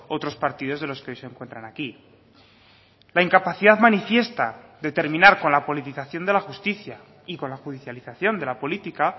otros partidos de los que hoy se encuentran aquí la incapacidad manifiesta de terminar con la politización de la justicia y con la judicialización de la política